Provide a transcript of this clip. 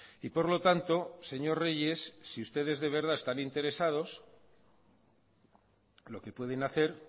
y por lo tanto señor reyes si ustedes de verdad están interesados lo que pueden hacer